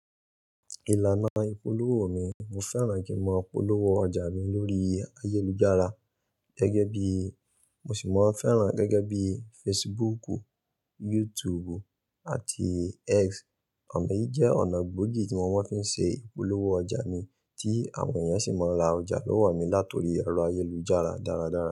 Ìlànà ìpolówó mi, mo fẹ́ràn kí n mo polówó ọjà mi lórí ayélujára gẹ́gẹ́ bií, mo sì máa fẹ́ràn gẹ́gẹ́ bí Facebook, YouTube àti X. Ona yìí jẹ́ ọ̀nà gbóògì tí mo máa ń fi ṣe ìpolówó ọjà mi tí àwọn èèyàn sì máa ń ra ọjà lọ́wọ́ mi lati orí ẹrọ ayélujára dáradára.